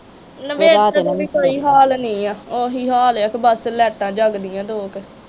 ਉਹੀ ਹਾਲ ਏ। ਬਸ ਲਾਈਟਾਂ ਜਗਦੀਆਂ ਦੋ ਕ।